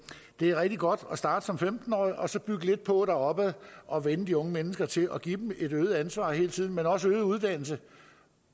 det er rigtig godt at starte som femten årig og så bygge lidt på og og vænne de unge mennesker til det og give dem et øget ansvar hele tiden men også øget uddannelse